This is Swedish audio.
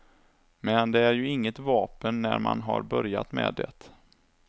Men det är ju inget vapen när man har börjat med det.